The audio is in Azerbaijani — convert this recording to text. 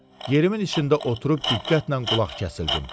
Yerimin içində oturub diqqətlə qulaq kəsildim